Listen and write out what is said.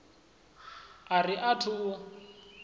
a ri a thu u